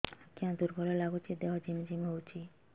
ଆଜ୍ଞା ଦୁର୍ବଳ ଲାଗୁଚି ଦେହ ଝିମଝିମ ହଉଛି